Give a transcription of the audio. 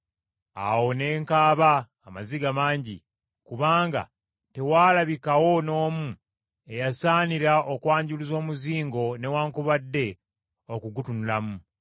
Awo ne nkaaba amaziga mangi, kubanga tewaalabikawo n’omu eyasaanira okwanjuluza omuzingo newaakubadde okugutunulamu.